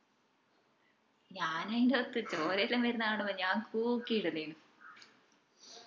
ഞാൻ ആയിന്റോത് ചോരയെല്ലൊം വരുന്ന കാണുമ്പോ ഞാൻ കൂക്കി ഇടുന്നേനു